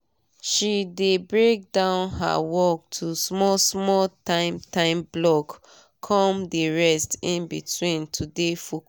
she dey break down her work to small small time time block come dey rest in between to dey focus